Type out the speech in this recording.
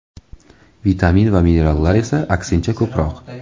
Vitamin va minerallar esa, aksincha, ko‘proq.